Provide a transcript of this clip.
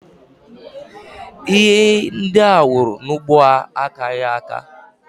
Ihe ndị ha wuru n'ugbo ha akaghị aka